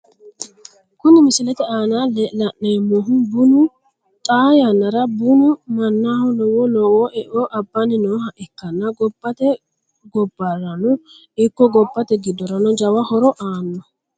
Kuni misilete aana la`neemohu bunu xaa yanara bunu manaho lowo lowo eo abani nooha ikanna gobate gobarano ikko gobate gidorano jawa horo aano.